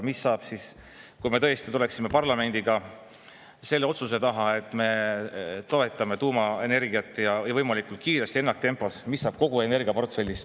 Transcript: Mis saab siis, kui me tõesti tuleme parlamendiga selle otsuse taha, et me toetame tuumaenergiat, ja võimalikult kiiresti, ennaktempos, mis saab kogu energiaportfellist?